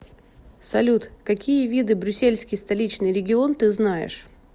салют какие виды брюссельский столичный регион ты знаешь